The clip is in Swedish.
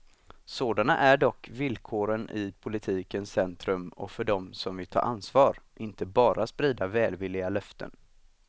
Sådana är dock villkoren i politikens centrum och för dem som vill ta ansvar, inte bara sprida välvilliga löften.